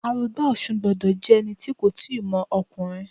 Arugba Osun gbọ́dọ̀ jẹ́ ẹni tí kò tíì mọ ọkùnrin.